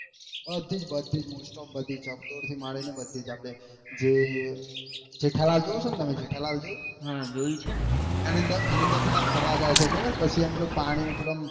બધી જ બધીજ મોસ્ટ ઓફ બધીજ ચકડોળ થી મારી ને બધીજ આખો આપે જે જેઠા લાલ જોયું તમને જેઠા લાલ જોયું એની અંદર ફરવા જાયે છે ખબર પછી પેલું એમ પાણી એકદમ